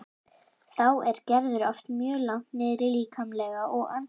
Þá er Gerður oft mjög langt niðri líkamlega og andlega.